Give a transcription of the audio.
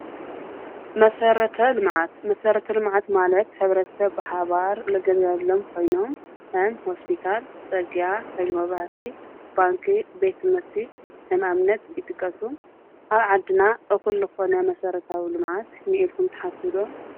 መሰረተ-ልምዓት፡- መሰረተ ልምዓት ማለት ብሓባር ዝግልገለሎም ኮይኖም ከም ሆስፒታል፣ ፅርግያ፣ ሓይሊ መብራህቲ፣ ባንኪ፣ ቤት ትምህርቲ ከም ኣብነት ይጥቀሱ፡፡ ኣብ ዓድና እኹል ዝኾነ መሰረታዊ ልምዓት እኒአ ኢልኩም ትሓስቡ ዶ?